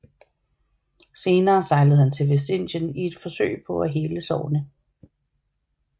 Senere sejlede han til Vestindien i et forsøg på at hele sårene